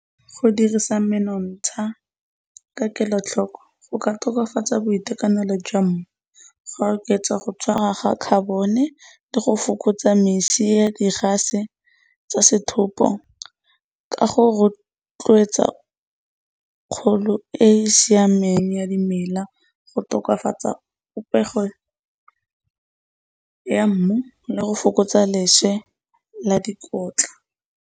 Go dirisa menontsha ka kelotlhoko go ka tokafatsa boitekanelo jwa mmu, go oketsa go tshwara ga carbon-e le go fokotsa misi ya di-gas-e tsa setlhopo ka go rotloetsa kgolo e siameng ya dimela, go tokafatsa popego ya mmu le go fokotsa leswe la dikotla.